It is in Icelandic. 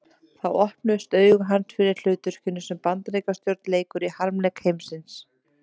Þá opnuðust augu hans fyrir hlutverkinu sem Bandaríkjastjórn leikur í harmleik heimsins.